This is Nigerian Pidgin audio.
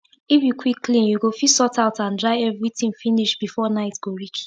if u quick clean u go fit sort out and dry everi tin finish before night go reach